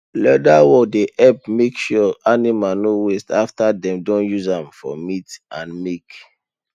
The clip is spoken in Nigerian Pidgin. leather work dey help make sure animal no waste after dem don use am for meat and milk